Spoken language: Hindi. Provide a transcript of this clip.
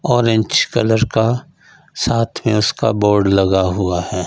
ऑरेंज कलर का साथ में उसका बोर्ड लगा हुआ है।